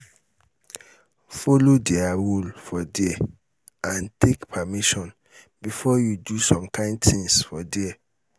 follow their rule for there and take permission before you do some kind things for there